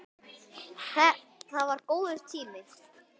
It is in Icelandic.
Það var það góður tími.